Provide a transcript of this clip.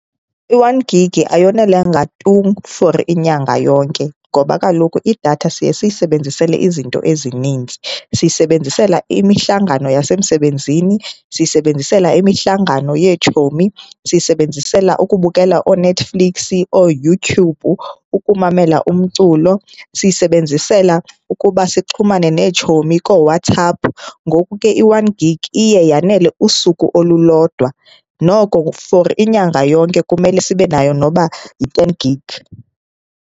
I-one gigi ayonelanga tu for inyanga yonke ngoba kaloku idatha siye siyisebenzisele izinto ezininzi. Siyisebenzisela imihlangano yasemsebenzini, siyisebenzisela imihlangano yeetshomi, siyisebenzisela ukubukela ooNetflix, ooYouTube, ukumamela umculo, siyisebenzisela ukuba sixhumane neetshomi kooWhatsApp. Ngoku ke i-one gigi iye yanele usuku olulodwa. Noko for inyanga yonke kumele sibe nayo noba yi-ten gigi.